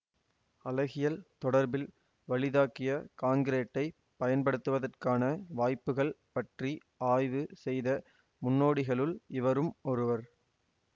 அழகியல் தொடர்பில் வலிதாக்கிய காங்கிறீட்டைப் பயன்படுத்துவதற்கான வாய்ப்புக்கள் பற்றி ஆய்வு செய்த முன்னோடிகளுள் இவரும் ஒருவர்